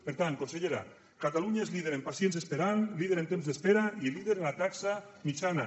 per tant consellera catalunya és líder en pacients esperant líder en temps d’espera i líder en la taxa mitjana